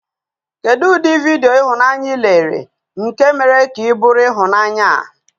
Kedu ụdị vidiyo ihunanya ị lere nke mere ka ị bụrụ ịhụnanya a?